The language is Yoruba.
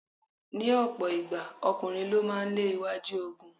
Ní ọ̀pọ̀ ìgbà, ọkùnrin ló máa ń lé iwájú ogun.